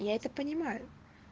я это понимаю